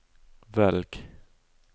velg